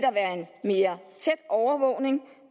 mere tæt overvågning